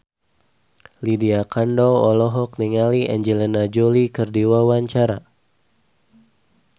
Lydia Kandou olohok ningali Angelina Jolie keur diwawancara